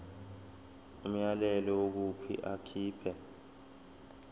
umyalelo wokuthi akhipha